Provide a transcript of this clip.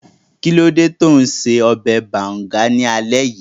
Kí ló dé tó un ṣe ọbẹ̀ bàùngá ní alé yìí?